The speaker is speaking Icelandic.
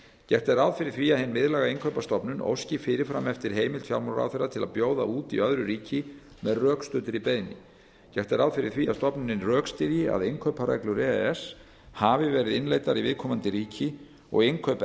gert er ráð fyrir því að hin miðlæga innkaupastofnun óski fyrir fram eftir heimild fjármálaráðherra til að bjóða út í öðru ríki með rökstuddri beiðni gert er ráð fyrir því að stofnunin rökstyðji að innkaupareglur e e s hafi verið innleiddar í viðkomandi ríki og innkaup